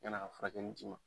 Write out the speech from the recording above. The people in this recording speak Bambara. Kana ka furakɛni ma.